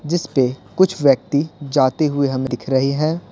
जिस पे कुछ व्यक्ति जाते हुए हमें दिख रहे हैं।